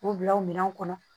K'u bila o minɛnw kɔnɔ